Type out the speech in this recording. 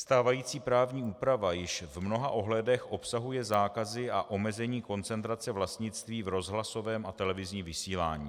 Stávající právní úprava již v mnoha ohledech obsahuje zákazy a omezení koncentrace vlastnictví v rozhlasovém a televizním vysílání.